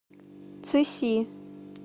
цыси